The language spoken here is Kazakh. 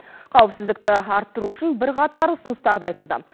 қауіпсіздікті арттыру үшін бірқатар ұсыныстар да айтылды